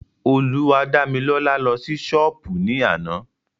Olúwadámilọ́lá lọ sí ṣọ́pù ní àná.